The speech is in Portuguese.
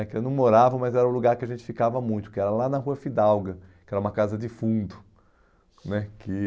né que eu não morava, mas era um lugar que a gente ficava muito, que era lá na Rua Fidalga, que era uma casa de fundo né que